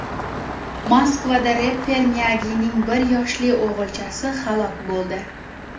Moskvada reper Miyagining bir yoshli o‘g‘ilchasi halok bo‘ldi.